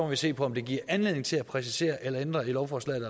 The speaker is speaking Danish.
vi se på om det giver anledning til at præcisere eller ændre i lovforslaget